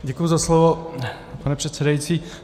Děkuji za slovo, pane předsedající.